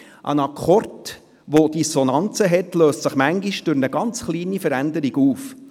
Ein Akkord, der Dissonanzen hat, löst sich manchmal durch eine ganz kleine Veränderung auf.